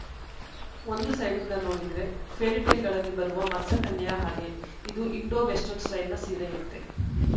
ಒಂದು ಸೈಡಿಂದ ನೋಡಿದ್ರೆ ಫೆರ್ರಿಟೇಲ್‌ಗಳಲ್ಲಿ ಬರುವ ಮತ್ಸ್ಯಕನ್ಯೆಯ ಹಾಗೆ ಇದು ಇಂಡೋ ವೆಸ್ಟರ್ನ್‌ ಸ್ಟೈಲ್‌ನ ಸೀರೆಯಂತೆ